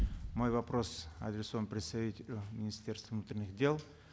мой вопрос адресован представителю министерства внутренних дел